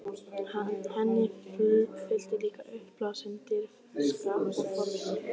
Henni fylgdi líka uppblásin dirfska og forvitni.